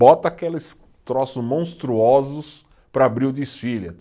Bota aqueles troços monstruosos para abrir o desfile.